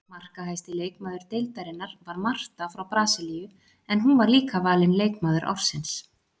Markahæsti leikmaður deildarinnar var Marta frá Brasilíu en hún var líka valin leikmaður ársins.